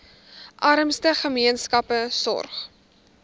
armste gemeenskappe sorg